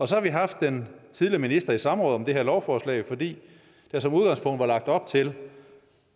så har vi haft den tidligere minister i samråd om det her lovforslag fordi der som udgangspunkt var lagt op til